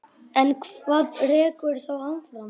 En hvað rekur þá áfram?